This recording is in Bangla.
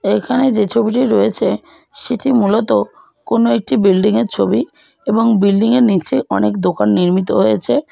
এখানে যে ছবিটি রয়েছে সেটি মূলত কোন একটি বিল্ডিং -এর ছবি এবং বিল্ডিং -এর নিচে অনেক দোকান নির্মিত হয়েছে।